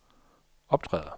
optræder